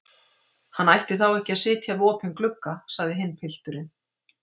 Hann ætti þá ekki að sitja við opinn glugga, sagði hinn pilturinn.